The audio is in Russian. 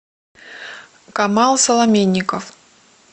камал соломенников